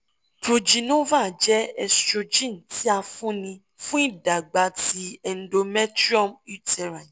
progynova jẹ estrogen ti a fun ni fun idagba ti endometrium uterine